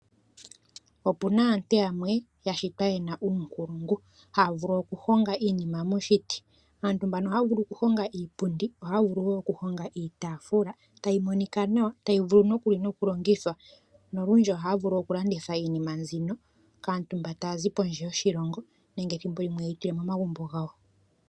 Opu na aantu yamwe ya shitwa ye na uunkulungu. Haa vulu okuhonga iinima moshiti. Aantu mbano ohaa vulu okuhonga iipundi, ohaa vulu wo okuhonga iitaafula, tayi monika nawa tayi vulu nokuli nokulongithwa. Nolundji ohaa vulu wo okulanditha iinima mbino kaantu mba taazi pondje yoshilongo nenge ye yi tule momagumbo gawo.